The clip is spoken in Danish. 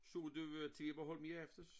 Så du TV Bornholm i aftes?